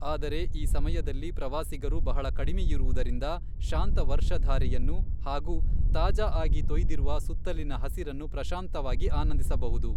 ಆದರೆ ಈ ಸಮಯದಲ್ಲಿ ಪ್ರವಾಸಿಗರು ಬಹಳ ಕಡಿಮೆಯಿರುವುದರಿಂದ, ಶಾಂತ ವರ್ಷಧಾರೆಯನ್ನು ಹಾಗೂ ತಾಜಾಆಗಿ ತೊಯ್ದಿರುವ ಸುತ್ತಲಿನ ಹಸಿರನ್ನು ಪ್ರಶಾಂತವಾಗಿ ಆನಂದಿಸಬಹುದು.